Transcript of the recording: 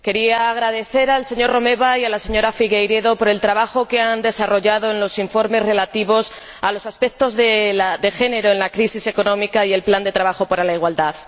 Señor Presidente, quería agradecer al señor Romeva y a la señora Figueiredo el trabajo que han desarrollado en los informes relativos a los aspectos de género en la crisis económica y al plan de trabajo para la igualdad.